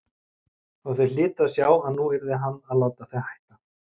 Og þau hlytu að sjá að nú yrði hann að láta þau hætta.